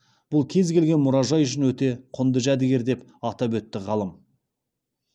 бұл кез келген мұражай үшін өте құнды жәдігер деп атап өтті ғалым